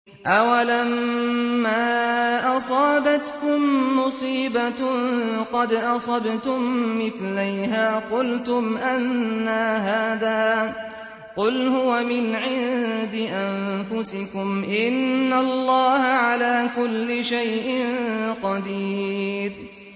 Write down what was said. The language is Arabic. أَوَلَمَّا أَصَابَتْكُم مُّصِيبَةٌ قَدْ أَصَبْتُم مِّثْلَيْهَا قُلْتُمْ أَنَّىٰ هَٰذَا ۖ قُلْ هُوَ مِنْ عِندِ أَنفُسِكُمْ ۗ إِنَّ اللَّهَ عَلَىٰ كُلِّ شَيْءٍ قَدِيرٌ